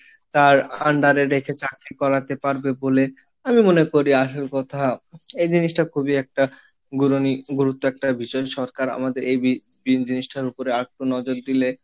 তার under এ রেখে চাকরি করাতে পারবে বলে আমি মনে করি, আসল কথা এই জিনিসটা খুবই একটা গুরুত্ব একটা বিষয় সরকার আমাদের এই বিন জিনিসটার উপরে আর একটু নজর দিলে,